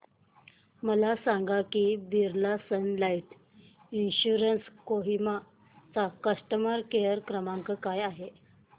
मला हे सांग की Birla sun life insurance Kohima चा कस्टमर केअर क्रमांक काय आहे